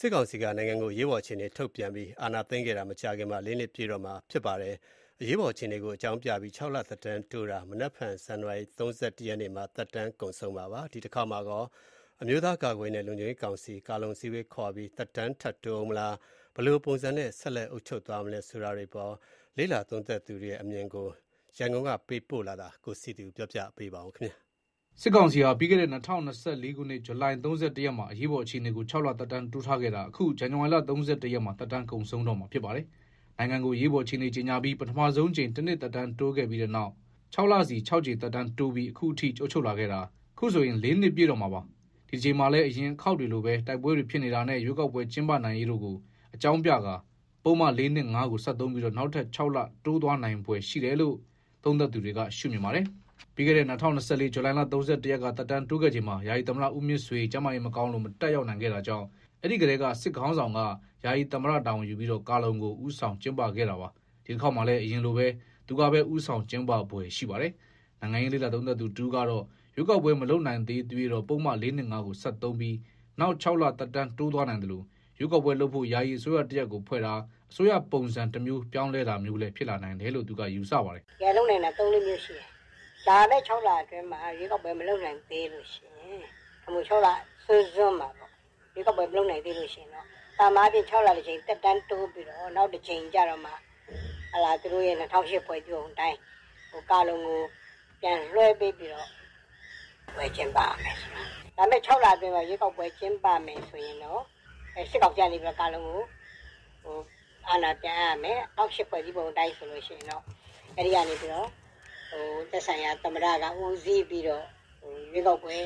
စစ်ကောင်စီက နိုင်ငံကိုအရေးပေါ်အခြေအနေထုတ်ပြန်ပြီး အာဏာသိမ်းခဲ့တာ မကြာခင်မှာ လေးနှစ် ပြည့်တော့မှာ ဖြစ်ပါတယ်။ အရေးပေါ်အခြေအနေကို အကြောင်းပြပြီး ၆ လ သက်တမ်းတိုးထားတာ မနက်ဖြန် ဇန်နဝါရီလ ၃၁ ရက်မှာ သက်တမ်းကုန်မှာပါ။ ဒီတခေါက်မှာကော အမျိုးသားကာကွယ်ရေးနဲ့ လုံခြုံရေးကောင်စီ အစည်းအဝေးခေါ်ပြီး သက်တမ်းထပ်တိုးဦးမလား၊ ဘယ်လိုပုံစံနဲ့ ဆက် အုပ်ချုပ်သွားမလဲ ဆိုတာတွေအပေါ်နိုင်ငံရေးလေ့ လာသုံးသပ်သူတွေရဲ့အမြင်ကို စုစည်းပြီး ရန်ကုန်က သတင်း ပေးပို့ထားပါတယ်။ စစ်ကောင်စီဟာ ပြီးခဲ့တဲ့ ၂၀၂၄ ခုနှစ် ဇူလိုင် ၃၁ ရက်မှာ အရေးပေါ်အခြေအနေကို ၆ လ သက်တမ်းတိုး ထားခဲ့တာ အခု ဇန်နဝါရီလ ၃၁ ရက်မှာ သက်တမ်းကုန်ဆုံးတော့မှာဖြစ်ပါတယ်။ နိုင်ငံကို အရေးပေါ်အခြေအနေကြေညာပြီး ပထမဆုံးအကြိမ်မှာ တနှစ် သက်တမ်းတိုးခဲ့ပြီးတဲ့နောက် ခြောက်လစီနဲ့ ၆ ကြိမ် သက်တမ်းတိုးပြီး အခုအထိ အုပ်ချုပ်လာခဲ့တာ ခုဆိုရင် ၄ နှစ် ပြည့်တော့မှာပါ။ ဒီတကြိမ်မှာလည်း အရင်အခေါက်တွေလိုဘဲ တိုက်ပွဲတွေဖြစ်နေတာနဲ့ ရွေးကောက်ပွဲ ကျင်းပရေးတို့ကို အကြောင်းပြကာ ပုဒ်မ ၄၂၅ ကို ဆက်သုံးပြီး နောက်ထပ် ၆ လ တိုးသွားနိုင်တယ်လို့ သုံးသပ်သူတွေက ရှုမြင်ပါတယ်။ ပြီးခဲ့တဲ့ ၂၀၂၄ ဇူလိုင် ၃၁ ရက်က သက်တမ်းတိုးခဲ့ချိန်မှာ ယာယီသမ္မတ ဦးမြင့်ဆွေ ကျန်းမာရေး မကောင်းလို့ မတက်ရောက်နိုင်တာကြောင့် အဲဒီကတည်းက စစ်ခေါင်းဆောင်က ယာယီသမ္မတ တာဝန်ယူပြီး ကာလုံကို ဦးဆောင်ကျင်းပခဲ့တာပါ။ ဒီတခေါက်မှာလည်း သူပဲ ဦးဆောင်ကျင်းပဖွယ် ရှိပါတယ်။ နိုင်ငံရေးလေ့လာသုံးသပ်သူတဦးကတော့ ရွေးကောက်ပွဲမလုပ်နိုင်သေးသရွေ့တော့ ပုဒ်မ ၄၂၅ ကို ဆက်သုံးပြီး နောက် ၆ လ သက်တမ်းတိုးသွားနိုင်သလို ရွေးကောက်ပွဲလုပ်ဖို့ ယာယီအစိုးရတရပ်ဖွဲ့တာ၊ အစိုးရပုံစံတမျိုးပြောင်းလဲတာမျိုးလည်းဖြစ်လာနိုင်တယ်လို့ သူကယူဆပါတယ်။ "လုပ်နိုင်တာ သုံးလေးမျိုး ရှိတယ်။ လာမယ့် ခြောက်လအတွင်း ရွေကောက်ပွဲ မလုပ်နိုင်သေးရင်တော့၊ ခြောက်လစွန်းစွန်းမှာ မလုပ်လိုက်နိုင်တော့ သာမန်အားဖြင့်တော့ ခြောက်လတကြိမ် သက်တမ်းတိုးပြီး နောက် ၆လ ကျရင်တော့ သူတို့ ဖွဲ့စည်းပုံအတိုင်း ကာလုံကိုပြန်လွှဲပြီး ရွေးကောက်ပွဲလုပ်လိမ့်မယ်။ လာမယ့်ခြောက်လအတွင်း ရွေးကောက်ပွဲကျင်းပရင်တော့ စစ်ကောင်စီက ခုတကြိမ်မှာ ကာလုံကို အာဏာပြန်အပ်၊ အဲကနေ သက်ဆိုင်ရာသမ္မတဦးစီးပြီးတော့ ရွေးကောက်ပွဲ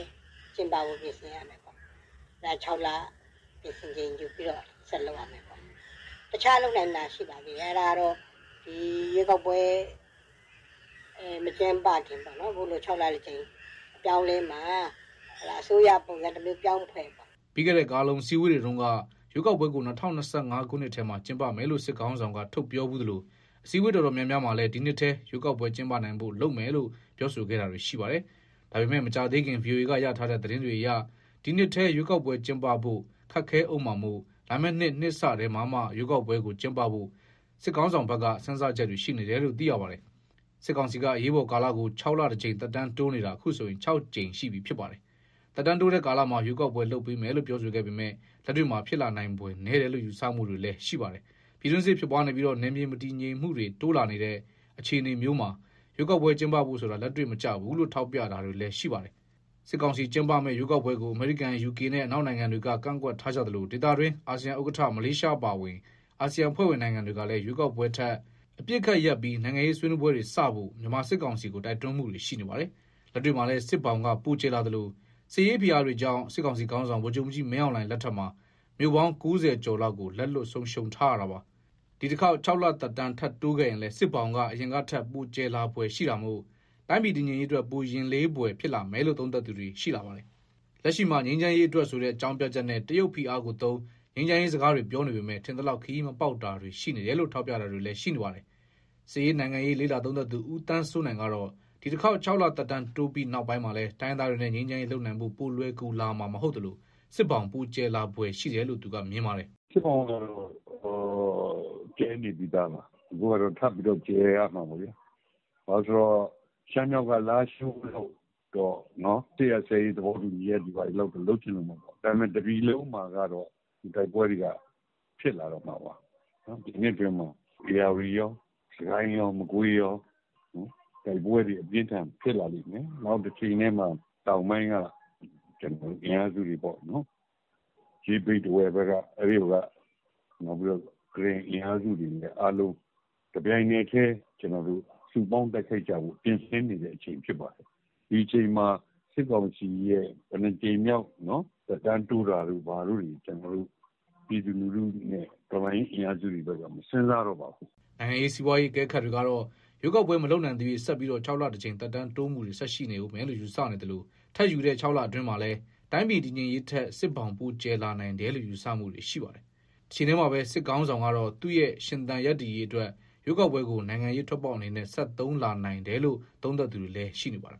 ကိုခြောက်လ ပြင်ဆင်ချိန် ယူလုပ်ရမယ်ပေါ့။ နောက်လုပ်နိုင်တာတခုကတော့ ရွေးကောက်ပွဲမကျင်းပခင် ခုလို ခြောက်လတကြိမ် အပြောင်းအလဲမှာ အစိုးရပုံစံပြောင်းဖွဲ့လာ တာမျိုးပေါ့။" ပြီးခဲ့တဲ့ ကာလုံအစည်းအဝေးတွေတုန်းက ရွေးကောက်ပွဲကို ၂၀၂၅ ခုနှစ်ထဲမှာ ကျင်းပမယ်လို့ စစ်ခေါင်းဆောင်က ထုတ်ပြောဖူးသလို အစည်းအဝေး တော်တော်များများမှာလည်း ဒီနှစ်ထဲ ရွေးကောက်ပွဲ ကျင်းပနိုင်ဖို့လုပ်မယ်လို့ ပြောဆိုခဲ့တာတွေ ရှိပါတယ်။ ဒါပေမယ့် မကြာသေးခင် ဗွီအိုအေရထားတဲ့သတင်းတွေအရ ဒီနှစ်ထဲမှာရွေးကောက်ပွဲကျင်းပဖို့ ခက်ခဲဦးမှာမို့ လာမယ့်နှစ် နှစ်စထဲမှာမှ ရွေးကောက်ပွဲကိုကျင်းပဖို့ စစ်ခေါင်းဆောင်ဘက်က စဉ်းစားချက်တွေ ရှိနေတယ်လို့ သိရပါတယ်။ စစ်ကောင်စီက အရေးပေါ်ကာလကိုခြောက်လတကြိမ် သက်တမ်းတိုးနေတာ အခုဆိုရင် ကြိမ်ရှိပြီ ဖြစ်ပါတယ်။ သက်တမ်းတိုးကာလမှာ ရွေးကောက်ပွဲလုပ်ပေးမယ်လို့ ပြောဆိုခဲ့ပေမယ့် လက်တွေ့မှာ ဖြစ်လာနိုင်ဖွယ်နည်းတယ်လို့ ယူဆမှုတွေလည်း ရှိပါတယ်။ ပြည်တွင်းစစ်ဖြစ်ပွားနေပြီး နယ်မြေ မတည်ငြိမ်မှုတွေ ပိုတိုးလာတဲ့အခြေအနေမျိုးမှာ ရွေးကောက်ပွဲကျင်းပဖို့ဆိုတာ လက်တွေ့မကျဘူးလို့ ထောက်ပြတာတွေလည်း ရှိနေပါတယ်။ စစ်ကောင်စီ ကျင်းပမယ့်ရွေးကောက်ပွဲကို အမေရိကန်၊ ယူကေနဲ့ အနောက်နိုင်ငံတွေက ကန့်ကွက် ထားကြသလို ဒေသတွင်း အာဆီယံဥက္ကဋ္ဌ မလေးရှားအပါအဝင် အာဆီယံအဖွဲ့ဝင်နိုင်ငံတွေကလည်း ရွေးကောက်ပွဲထက် အပစ်အခတ်ရပ်ပြီး နိုင်ငံရေးဆွေးနွေးပွဲတွေစဖို့ မြန်မာစစ်ကောင်စီကို တိုက်တွန်းမှုတွေ ရှိနေပါတယ်။ လက်တွေ့မှာလည်း စစ်ဘောင်ပိုကျယ်လာသလို စစ်ရေးဖိအားတွေကြောင့် စစ်ခေါင်းဆောင် ဗိုလ်ချုပ်မှူးကြီးမင်းအောင်လှိုင်လက်ထက်မှာ မြို့ပေါင်း ၉၀ ကျော်လောက်ကို လက်လွှတ်ဆုံးရှုံး ထားရတာပါ။ ဒီတခေါက် လသက်တမ်း ထပ်တိုးခဲ့ရင်လည်း စစ်ဘောင်က အရင်ကထက် ပိုကျယ်လာဖွယ်ရှိတာမို့ တိုင်းပြည်တည်ငြိမ်ရေးအတွက် ပိုရင်လေးဖွယ်ဖြစ်လာမယ်လို့ သုံးသပ်သူတွေ ရှိလာပါတယ်။ လက်ရှိမှာ ငြိမ်းချမ်းရေးအတွက်ဆိုတဲ့ အကြောင်းပြချက်နဲ့ တရုတ်ဖိအားကိုသုံး၊ ငြိမ်းချမ်းရေးစကားတွေပြောနေပေမယ့် ထင်သလောက် ခရီးမပေါက်တာတွေရှိနေတယ်လို့ ထောက်ပြနေတာတွေလည်းရှိနေပါတယ်။ စစ်ရေးနိုင်ငံရေးလေ့လာသုံးသပ်သူ ဦးသန်းစိုးနိုင်ကတော့ ဒီတခေါက် ခြောက်လ သက်တမ်းတိုးပြီး နောက်ပိုင်းမှာလည်း တိုင်းရင်း သားတွေနဲ့ ငြိမ်းချမ်းရေးလုပ်နိုင်ဖို့ ပိုလွယ်ကူလာမှာ မဟုတ်သလို စစ်ဘောင်ပိုကျယ်လာနိုင်ဖွယ်ရှိတယ်လို့ သူက မြင်ပါတယ်။ "စစ်ဘောင်ကတော့ ကျယ်နေပြီးသားပါ။ ခုကတော့ ထပ်ကျယ်လာမှာပေါ့ဗျာ။ ဘာလို့ဆို ရှမ်းမြောက် က လားရှိုးကို စစ်ရပ်စဲရေးတွေ ဘာတွေလုပ်ပေမယ့် တပြည်လုံးမှာက တိုက်ပွဲတွေက ဖြစ်လာနေဦး မှာပါ။ ဒီနှစ်အတွင်းမှာ ဧရာဝတီကော၊ စစ်ကိုင်းကော၊ မကွေးကော တိုက်ပွဲတွေ အပြင်းအထန် ဖြစ်လာလိမ့်မယ်။ တချိန်တည်းမှာ တောင်ပိုင်းကအင်အားစုတွေကော၊ ရေး၊ ဘိတ်၊ ထားဝယ်အင်အား စု၊ နောက် ကရင်နီတို့ကော တပြိုင်နက်တိုက်ဖို့ ပြင်နေချိန်လည်းဖြစ်တော့ ဒီအချိန်မှာ စစ်ကောင်စီ ဘယ်နှစ်ကြိမ်မြောက် သက်တမ်းတိုးလဲဆိုတာ ပြည်သူတွေကော တော်လှန်ရေး အင်အားစုတွေ ကောက မစဉ်းစားတော့ပါဘူး။" နိုင်ငံရေး၊ စီးပွားရေး အကဲခတ်တွေကတော့ ရွေးကောက်ပွဲမလုပ်နိုင်သရွေ့ ဆက်ပြီး ခြောက်လတကြိမ် သက်တမ်းတိုးနေဦးမယ်လို့ ယူဆနေသလို ထပ်ယူတဲ့ ခြောက်လအတွင်းမှာလည်း တိုင်းပြည် တည်ငြိမ်ရေးထက် စစ်ဘောင်ပိုကျယ်နိုင်တယ်လို့ယူဆမှုတွေရှိနေပါတယ်။ တချိန်တည်းမှာပဲ စစ်ခေါင်းဆောင်ကတော့ သူ့ရဲ့ ရှင်သန်ရပ်တည်ရေးအတွက် ရွေးကောက်ပွဲကို နိုင်ငံရေးထွက်ပေါက် အနေနဲ့ ဆက်သုံးလာနိုင်တယ်လို့ သုံးသပ်သူတွေလည်း ရှိနေပါတယ်